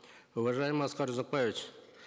уважаемый аскар узакбаевич